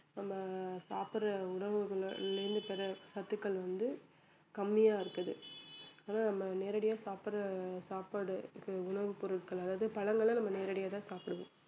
நம்ம சாப்பிடற உணவுகள்லிருந்து பெர்ற சத்துக்கள் வந்து கம்மியா இருக்குது அதனால நம்ம நேரடியா சாப்பிடற சாப்பாடு இப்ப உணவு பொருட்கள் அதாவது பழங்கள நம்ம நேரடியா தான் சாப்பிடுவோம்